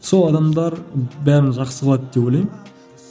сол адамдар бәрін жақсы қылады деп ойлаймын